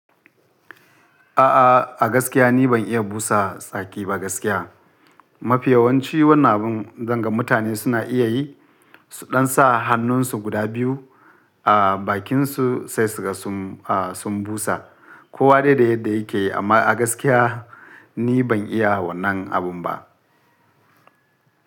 Ah a gaskiya ni ban iya busa saki ba gaskiya. Mafi yawanci wannan abin zan ga mutane suna iya yi, su ɗan sa hannunsu guda biyu a bakinsu sai suka sum, a sun busa. Ko wa dai da yadda yake amma a gaskiya ni ban iya wannan abin ba.